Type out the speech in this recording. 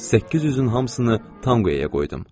800-ün hamısını Tamqiyaya qoydum.